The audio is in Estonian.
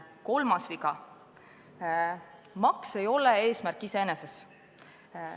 Kolmas viga: maks ei ole eesmärk iseeneses.